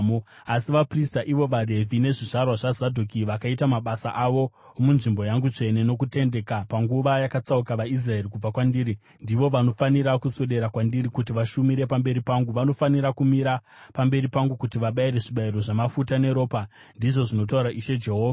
“ ‘Asi vaprista, ivo vaRevhi nezvizvarwa zvaZadhoki, vakaita mabasa avo omunzvimbo yangu tsvene nokutendeka panguva yakatsauka vaIsraeri kubva kwandiri, ndivo vanofanira kuswedera kwandiri kuti vashumire pamberi pangu; vanofanira kumira pamberi pangu kuti vabayire zvibayiro zvamafuta neropa, ndizvo zvinotaura Ishe Jehovha.